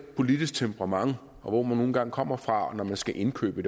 politisk temperament og hvor man nu engang kommer fra når man skal indkøbe